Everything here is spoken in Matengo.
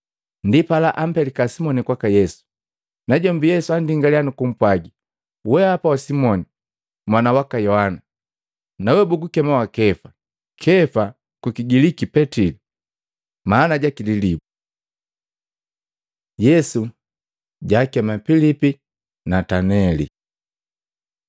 Ndipala ampelika Simoni kwaka Yesu. Najombi Yesu andingaliya nukupwagi, “Weapa wa Simoni mwana waka Yohana, nawe bagukema wa Kefa.” Kefa kukigiliki Petili maana jaki “Lilibu.” Yesu jakema Pilipi na Nataneli